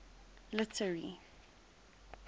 literary